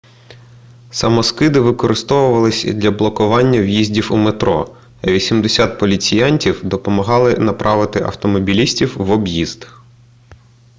самоскиди викорисовувалися для блокування в'їздів у метро а 80 поліціянтів допомогали направити автомобілістів в об'їзд